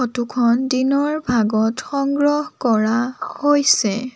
ফটোখন দিনৰ ভাগত সংগ্ৰহ কৰা হৈছে।